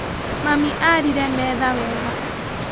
Mami arire metha wega.